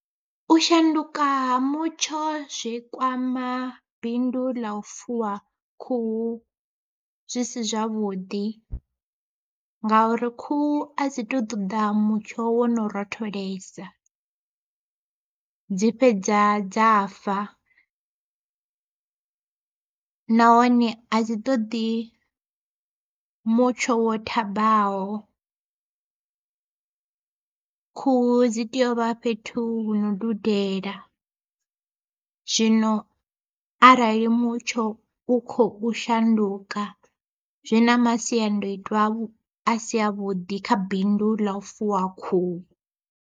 U shanduka ha mutsho zwi kwama bindu ḽa u fuwa khuhu zwi si zwavhuḓi, ngauri khuhu a dzi tu ṱoḓa mutsho wo no rotholesa dzi fhedza dza fa. Nahone a dzi ṱoḓi mutsho wo thambaho khuhu dzi tea uvha fhethu hu no dudela, zwino arali mutsho u khou shanduka zwi na masiandoitwa a si a vhuḓi kha bindu ḽa u fuwa khuhu.